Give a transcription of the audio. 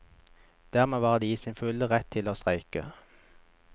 Dermed var de i sin fulle rett til å streike.